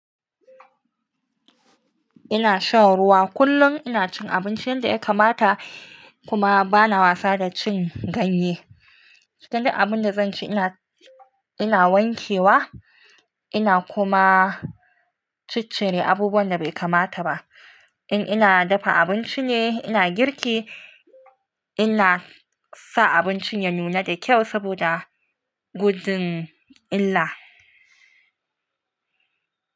Ina shan ruwa kullum, ina cin abincin da ya kamata kuma bana wasa da cin ganye. Kada abun da zan ci ina, ina wankewa ina kuma ciccire abubuwan da bai kamata ba. In ina dafa abinci ne, ina girki ina sa abincin ya nuna da kyau saboda gudun illa.